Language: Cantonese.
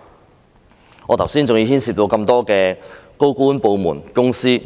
正如我剛才所說，這事牽涉到那麼多高官、部門和公司，